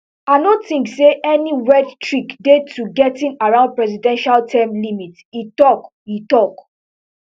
i no think say any weird trick dey to getting around presidential term limits e tok e tok